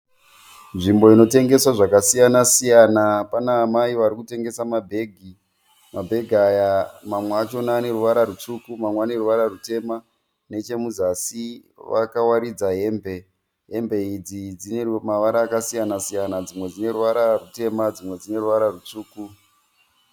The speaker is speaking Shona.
Nzvimbo inotengeswa zvakasiyana siyana. Pana amai varikutengesa mabhegi. Mabhegi aya mamwe achona ane ruvara rutsvuku mamwe ane ruvara rutema. Nechemuzasi vakawarinzwa hembe. Hembe idzi dzine ruvara rwakasiyana siyana dzimwe dzine ruvara rutema dzimwe dzine ruvara rwutsvuku.